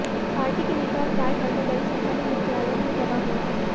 party के नेता और कार्यकर्ता बड़ी संख्या में मुख्यालय में जमा हुए हैं